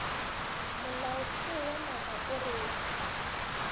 molaotheo wa naga o reng